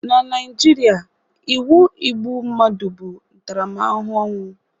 Na Naijiria, iwu igbu mmadụ bụ ntaramahụhụ ọnwụ